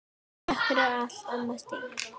Takk fyrir allt, amma Stína.